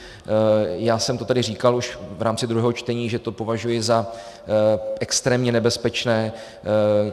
Já jsem to tady říkal už v rámci druhého čtení, že to považuji za extrémně nebezpečné.